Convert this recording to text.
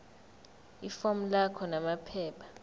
ifomu lakho namaphepha